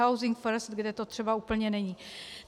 Housing first, kde to třeba úplně není.